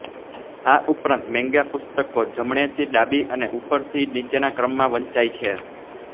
આ ઉપરાંત મેન્ગા પુસ્તકો જમણેથી ડાબી અને ઉપરથી નીચેના ક્રમમાં વંચાય છે